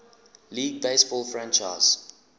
league baseball franchise